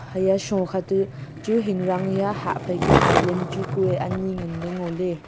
haiya sho kha tu chu hingrang hia hah phaikia island chu kue anyi nganle ngoley.